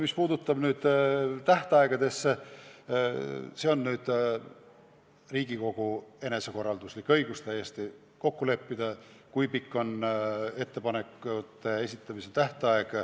Mis puudutab tähtaegu, siis see on Riigikogu enesekorralduslik õigus kokku leppida, kui pikk on ettepanekute esitamise tähtaeg.